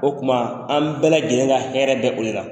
O kuma an bɛɛ lajɛlen ka hɛrɛ bɛ o de la.